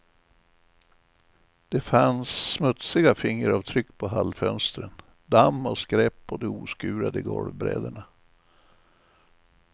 Det fanns smutsiga fingeravtryck på hallfönstren, damm och skräp på de oskurade golvbräderna.